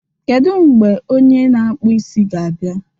Kedu mgbe onye na-akpụ isi ga-abịa?